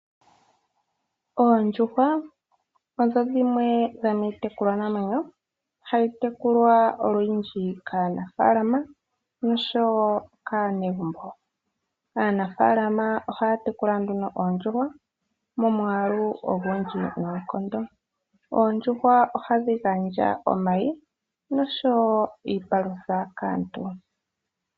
Oondjuhwa odho dhimwe dhomiitekulwanamwenyo hayi tekulwa olundji kaanafaalama noshowo kaanegumbo. Aanafaalama ohaya tekula nduno oondjuhwa momwaalu ogundji noonkondo. Oondjuhwa ohadhi gandja omayi noshowo iipalutha kaantu.